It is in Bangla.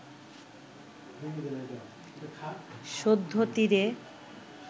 সদ্য তীরে